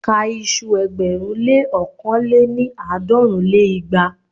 Ka iṣu ẹgbẹ̀rún lé ókàn lé-ní- àádọ́rùn lé igba!